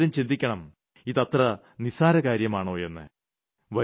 നിങ്ങൾ ഓരോരുത്തരും ചിന്തിക്കണം ഇതത്ര നിസ്സാരകാര്യമാണോയെന്ന്